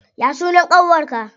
Ya sunan ƙanwar ka?